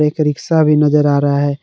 एक रिक्शा भी नजर आ रहा है।